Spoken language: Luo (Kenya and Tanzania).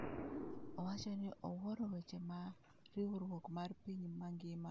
Owacho ni owuoro weche ma riwruok mar piny mangima WHO ogolo kata kamano pok oneno kwan ma gisetiyogo.